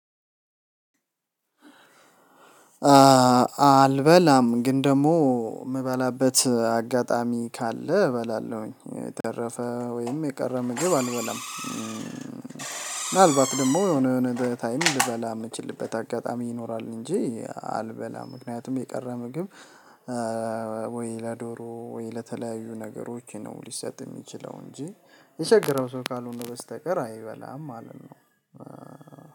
አልበላም ግን ደግሞ የምበላበት አጋጣሚ ካለ እበላለሁኝ። የተረፈ ወይም የቀረ ምግብ አንበላም ምናልባት ደግሞ የሆነ የሆነ ታይም ልበላ የምችልበት አጋጣሚ ይኖራል እንጂ አልበላም! ምክንያቱም የቀረ ምግብ ወይ ለዶሮ፣ ወይ ለተለያዩ ነገሮች ነው ሊሰጥ የሚችለው እንጂ፤ የቸገረው ሰው ካልሆነ በስተቀር አይበላም ማለት ነው።